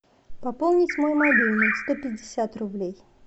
пополнить мой мобильный сто пятьдесят рублей